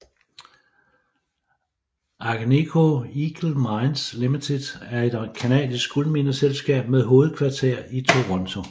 Agnico Eagle Mines Limited er et canadisk guldmineselskab med hovedkvarter i Toronto